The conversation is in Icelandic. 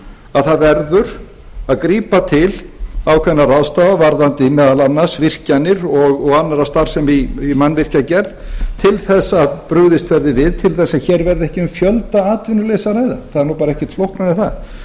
að það verður að grípa til ákveðinna ráðstafana varðandi meðal annars virkjanir og aðra starfsemi í mannvirkjagerð til þess að brugðist verði við til þess að hér verði ekki um fjöldaatvinnuleysi að ræða það er bara ekkert flóknara en það